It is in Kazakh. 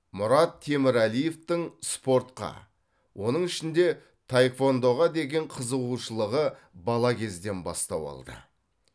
мұрат темірәлиевтің спортқа оның ішінде таеквондоға деген қызығушылығы бала кезден бастау алды